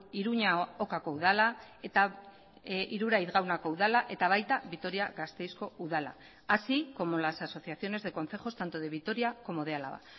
iruña ocako udala eta iruraiz gaunako udala eta baita vitoria gasteizko udala ere así como las asociaciones de concejos tanto de vitoria como de álava